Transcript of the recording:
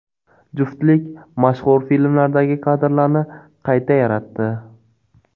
Juftlik mashhur filmlardagi kadrlarni qayta yaratdi.